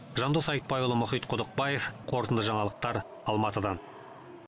жандос айтбайұлы мұхит құдықбаев қорытынды жаңалықтар алматыдан